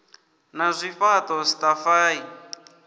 na zwifhaṱo ataf a i